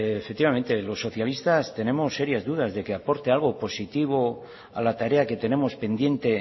efectivamente los socialistas tenemos serias dudas de que aporte algo positivo a la tarea que tenemos pendiente